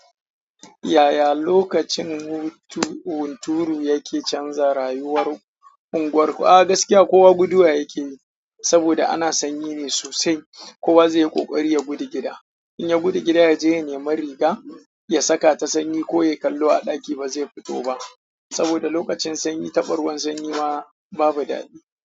Yaya lokacin hunturu yake canza rayuwar unguwarku? A gaskiya, kowa guduwa yake yi saboda ana sanyi ne sosai. Kowa zai yi ƙoƙari ya gudu gida. In ya gudu gida, ya je ya nema riga, ya saka ta sanyi ko yayi kallo a ɗaki ba zai fito ba saboda lokacin sanyi taɓa ruwan sanyi ma babu daɗi.